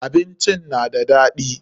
Abincin na da daɗi.